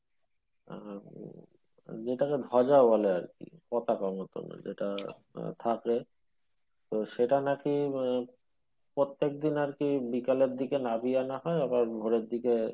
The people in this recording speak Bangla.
আহ উম যেটাকে ধজা বলে আরকি পতাকার মতোন যেটা থাকে তবে সেটা নাকি প্রত্যেকদিন আরকি বিকালের দিকে নাবিয়ে আনা হয় আবার ভোরের দিকে,